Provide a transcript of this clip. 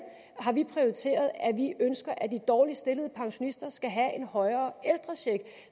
prioriteret at vi ønsker at de dårligst stillede pensionister skal have er højere